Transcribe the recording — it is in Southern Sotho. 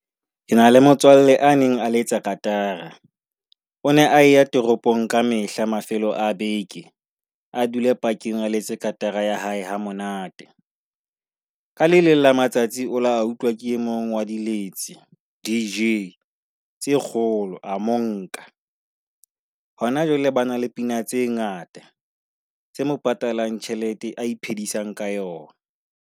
Ke na le motswalle a neng a le etsa katara, o ne a ya toropong ka mehla mafelo a beke a dule park-ng a letse katara ya hae ha monate. Ka le leng la matsatsi a utlwa ke e mong wa dilitse, DJ tse kgolo. A mo nka. Hona jwale ba na le dipina tse ngata tse mo patalang tjhelete eo a iphedisang ka yona.